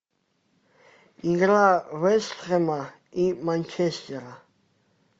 игра вест хэма и манчестера